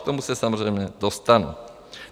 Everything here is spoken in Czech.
K tomu se samozřejmě dostanu.